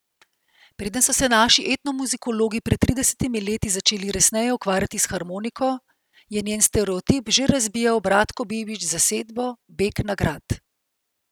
Preden so se naši etnomuzikologi pred tridesetimi leti začeli resneje ukvarjati s harmoniko, je njen stereotip že razbijal Bratko Bibič z zasedbo Begnagrad.